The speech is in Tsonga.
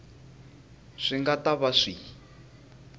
swi nga ta va swi